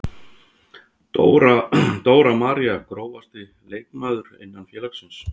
Dóra María Grófasti leikmaður innan félagsins?